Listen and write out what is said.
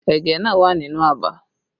Ẹ̀gẹ́ náà wà nínú abà